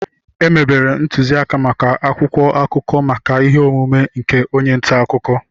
Emebere ntuziaka maka akwụkwọ akụkọ maka ihe ọmụma nke onye nta akụkọ